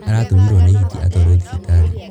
Aratũmirwo nĩ hiti atwarwo thibitarĩ.